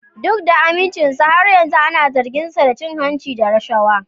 Duk da amincinsa, har yanzu ana zarginsa da cin hanci da rashawa.